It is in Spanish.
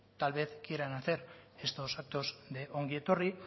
tal vez quieran hacer estos actos de ongi etorri